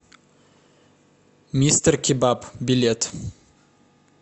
мистеркебаб билет